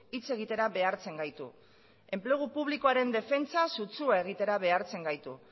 hitz egitera behartzen gaitu enplegu publikoaren defentsa sutsua egitera behartzen gaitu